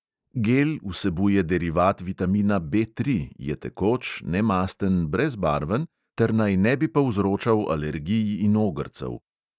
Gel vsebuje derivat vitamina B tri, je tekoč, nemasten, brezbarven ter naj ne bi povzročal alergij in ogrcev.